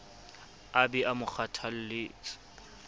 a be a mo kgothaletse